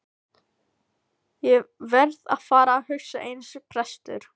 Ég verð að fara að hugsa eins og prestur.